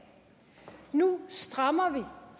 nu strammer